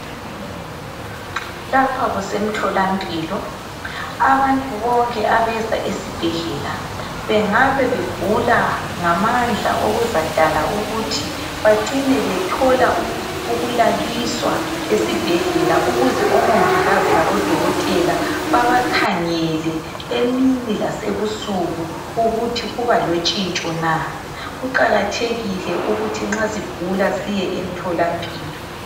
Lapha kuse mtholampilo. Abantu bonke abeza esibhedlela bengabe begula ngamandla okuzadala ukuthi bacine bethola ukulaliswa esibhedlela ukuze omongikazi labo dokotela babakhangele emini lasebusuku ukuthi kuba lontshintsho na . Kuqakathekile ukuthi nxa sigula siye emtholampilo.